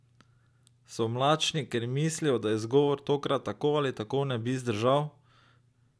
So mlačni, ker mislijo, da izgovor tokrat tako ali tako ne bi zdržal?